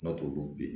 Kuma t'olu